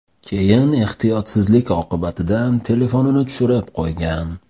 Keyin ehtiyotsizlik oqibatidan telefonini tushirib qo‘ygan.